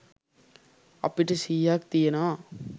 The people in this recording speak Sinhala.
අපිට සිහියක් තියෙනවා.